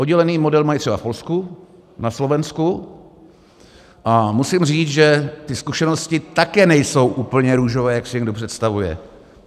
Oddělený model mají třeba v Polsku, na Slovensku a musím říct, že ty zkušenosti také nejsou úplně růžové, jak si někdo představuje.